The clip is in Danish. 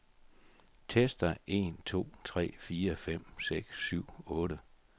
Tester en to tre fire fem seks syv otte.